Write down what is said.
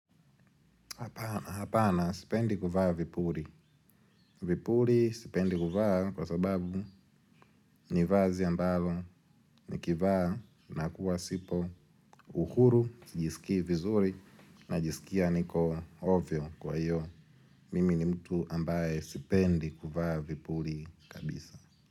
Hapana, sipendi kuvaa vipuri. Vipuri sipendi kuvaa kwa sababu nivazi ambalo nikivaa na kuwasipo uhuru, sijisikii vizuri najisikia niko ovyo kwa hiyo. Mimi ni mtu ambaye sipendi kuvaa vipuri kabisa.